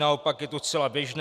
Naopak je to zcela běžné.